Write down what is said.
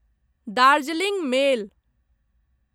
Darjeeling मेल